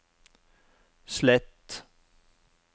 slett